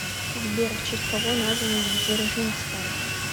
сбер в честь кого назван дзержинская